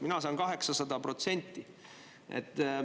Mina saan 800%.